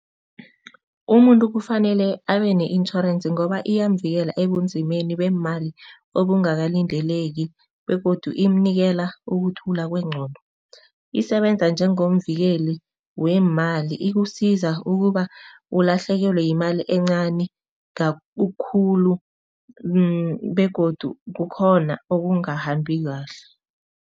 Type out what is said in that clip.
Umuntu kufanele abe ne-intjhorensi ngoba iyamvikela ebunzimeni beemali obungakalindeleki begodu imnikela ukuthula kwengqondo. Isebenza njengomvikeli weemali, ikusiza ukuba ulahlekelwe yimali encani khulu begodu kukhona okungahambi kahle.